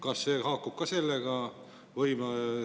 Kas see haakub ka sellega?